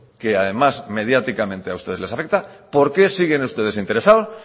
que además mediáticamente a ustedes les afecta por qué siguen ustedes interesados